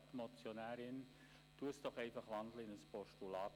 Grossrätin Geissbühler, wandeln Sie ihren Vorstoss einfach in ein Postulat!